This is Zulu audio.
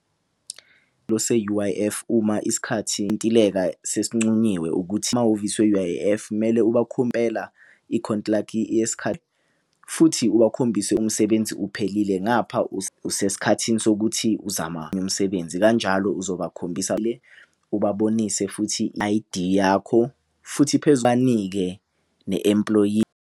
Se-U_I_F uma isikhathi sesincunyiwe ukuthi emahhovisi we-U_I_F kumele ikhontilakhi futhi ubakhombise umsebenzi uphelile ngapha usesikhathini sokuthi uzama umsebenzi kanjalo, uzabakhombisa le ubabonise futhi I_D yakho futhi phezu ubanike ne-employee .